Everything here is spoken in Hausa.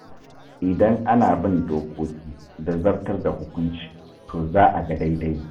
Idan ana bin dokoki, da zartar da hukunci, to za a ga daidai.